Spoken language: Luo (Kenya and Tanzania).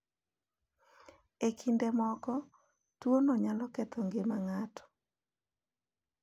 E kinde moko, tuwono nyalo ketho ngima ng’ato.